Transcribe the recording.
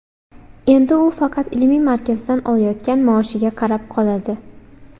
Endi u faqat ilmiy markazdan olayotgan maoshiga qarab qoladi.